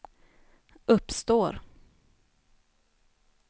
uppstår